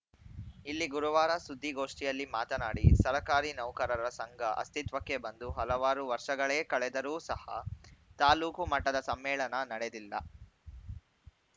ಇಲ್ಲಿ ಗುರುವಾರ ಸುದ್ದಿಗೊಷ್ಠಿಯಲ್ಲಿ ಮಾತನಾಡಿ ಸರಕಾರಿ ನೌಕರರ ಸಂಘ ಅಸ್ತಿತ್ವಕ್ಕೆ ಬಂದು ಹಲವಾರು ವರ್ಷಗಳೇ ಕಳೆದರೂ ಸಹ ತಾಲೂಕು ಮಟ್ಟದ ಸಮ್ಮೇಳನ ನಡೆದಿಲ್ಲ